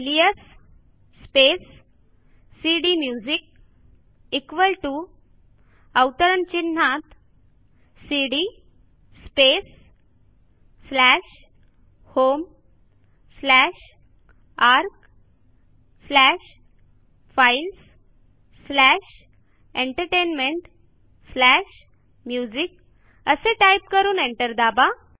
alias space CD music equal TO within double quotes CD space slash home slash ARC slash files slash entertainment slash music असे type करून enter दाबा